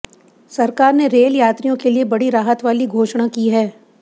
सरकार ने रेल यात्रियों के लिए बड़ी राहत वाली घोषणा की है